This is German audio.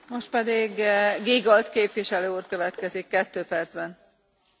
Frau Präsidentin, die Herren Kommissare, liebe Kolleginnen und Kollegen!